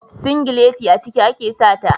Singilati a ciki ake sa ta.